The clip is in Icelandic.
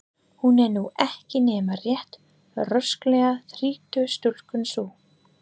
Hún er nú ekki nema rétt rösklega þrítug stúlkan sú.